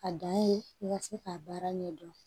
A dan ye i ka se k'a baara ɲɛdɔn